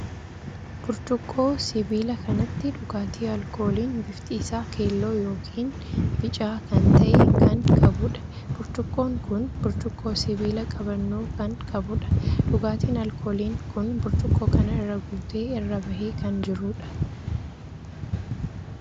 Burcuqqoo sibiila kanatti dhugaatii alkooliin bifti isaa keelloo ykn bicaa kan tahee kan qabuudha. burcuqqoon kun burcuqqoo sibiila qabannoo kan qabuudha. dhugaatiin alkooliin kun burcuqqoo kana irra guutee irra bahee kan jiruudha.